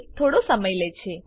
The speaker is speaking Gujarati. તે થોડો સમય લે છે